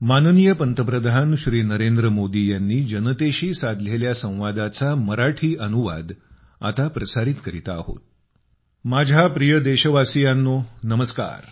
माझ्या प्रिय देशवासियांनो नमस्कार